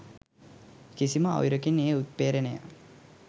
කිසිම අයුරකින් එය උත්පේ්‍රරණය